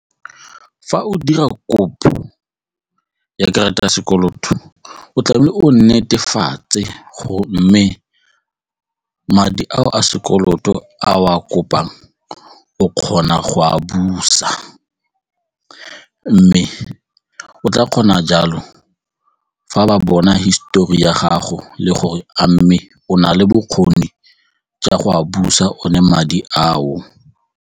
Fa o dira kopo ya karata ya sekoloto o tlamehile o netefatse go mme madi ao a sekoloto a o a kopang o kgona go a busa mme o tla kgona jalo fa ba bona hisetori ya gago le gore a mme o na le bokgoni jwa go a busa one madi ao.